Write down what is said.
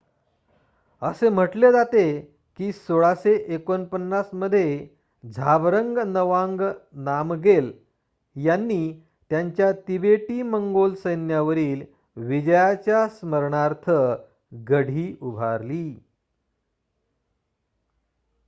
असे म्हटले जाते की १६४९ मध्ये झाबरंग नवांग नामगेल यांनी त्यांच्या तिबेटी-मंगोल सैन्यावरील विजयाच्या स्मरणार्थ गढी उभारली